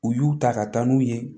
U y'u ta ka taa n'u ye